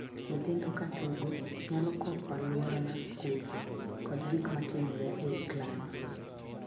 Nyithindo ka tugo nyalo kopo aluora mar skul kod gik matimore ei klas.